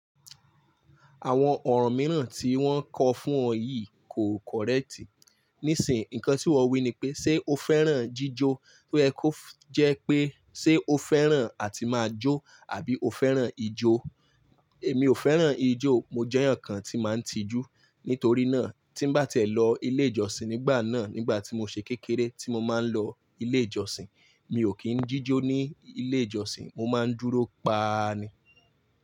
Àwọn ọ̀rọ̀ mìíràn tí wọ́n kọ fún ọ yìí kò correct. Nísìń, nǹkan tí wọn wí ni pé, "ṣé o fẹ́ràn jíjó?" tó yẹ ko jẹ́ pé, "ṣé o fẹ́ràn àti máa jó àbí o fẹ́ràn ijó?" Èmi ò fẹ́ràn ijó, mo jẹ́ ẹ̀yàn kan tí máa ń tijú. Nítorí náà, tí ń bá tí ẹ̀ lọ ilé ìjọsìn nígbà náà, nígbà tí mo ṣe kékeré tí mo máa ń lọ ilé ìjọsìn, mi ò kí ń jíjó ní ilé ìjọsìn, mo máa ń dúró pa ni.